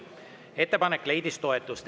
Ettepanek leidis toetust.